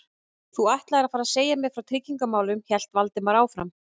Þú ætlaðir að fara að segja mér frá tryggingamálunum- hélt Valdimar áfram.